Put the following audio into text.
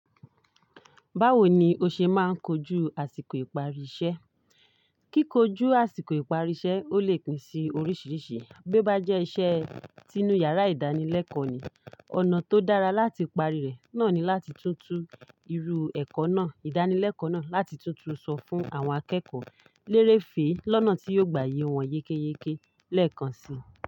Báwo ni o ṣe máa ń kojú àsìkò ìparí iṣẹ́? Kíkojú àsìkò ìparí iṣẹ́ ò lè pín sí oríṣìíríṣìí bí o bájẹ́ iṣẹ́ tinu yàrá ìdánilẹ́kọ̀ọ́ ni, ọ̀nà tó dára láti parí rẹ̀ náà ni láti tún tu irú ẹ̀kọ́ náà, ìdánilẹ́kọ̀ọ́ náà láti tútù sọ fún àwọn akẹ́kọ̀ọ́ lérèfé lọ́nà tí yóò gbayì wọ́n yékéyéké lẹ́ẹ̀kan si.